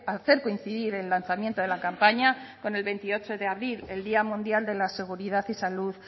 hacer coincidir el lanzamiento de la campaña con el veintiocho de abril el día mundial de la seguridad y salud